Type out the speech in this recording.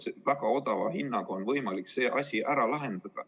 Väga odava hinna eest on võimalik see probleem ära lahendada.